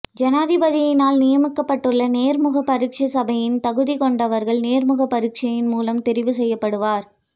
ஜனாதிபதியினால் நியமிக்கப்பட்டுள்ள நேர்முக பரீட்சை சபையினால் தகுதியை கொண்டவர்கள் நேர்முக பரீட்சையின் மூலம் தெரிவு செய்யப்படுவர்